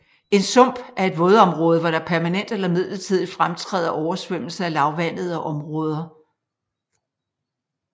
En sump er et vådområde hvor der permanent eller midlertidigt fremtræder oversvømmelse af lavvandede områder